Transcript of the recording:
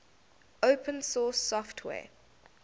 open source software